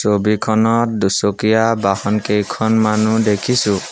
ছবিখনত দুচকীয়া বাহন কেইখনমানো দেখিছোঁ।